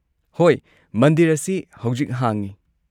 ꯍꯣꯏ, ꯃꯟꯗꯤꯔ ꯑꯁꯤ ꯍꯧꯖꯤꯛ ꯍꯥꯡꯉꯤ꯫